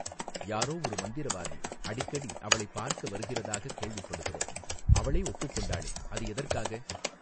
யாரோ ஒரு மந்திரவாதி அடிக்கடி அவளைப் பார்க்க வருகிறதாகக் கேள்விப்படுகிறோம் அவளே ஒப்புக்கொண்டாளே அது எதற்காக.